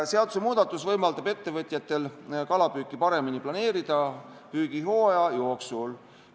Seadusemuudatus võimaldab ettevõtjatel kalapüüki paremini püügihooaja jooksul planeerida.